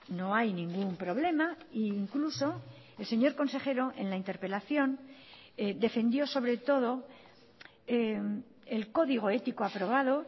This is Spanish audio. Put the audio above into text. no hay ningún problema e incluso el señor consejero en la interpelación defendió sobre todo el código ético aprobado